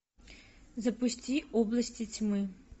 запусти области тьмы